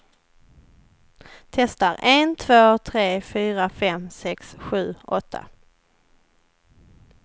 Testar en två tre fyra fem sex sju åtta.